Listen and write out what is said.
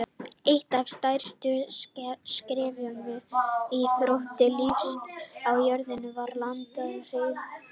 Eitt af stærstu skrefum í þróun lífs á jörðunni var landnám hryggdýra.